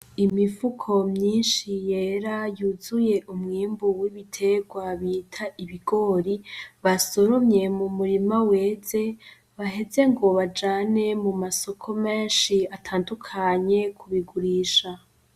Imifuko myinshi yera yuzuye umwimbu w'ibitegwa mwita ibigori, basoromye mu murima weze baheze ngo bajane mu masoko menshi atandukanye, kubigurisha.